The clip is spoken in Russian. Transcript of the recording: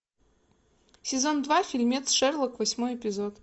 сезон два фильмец шерлок восьмой эпизод